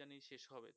জানি শেষ হবে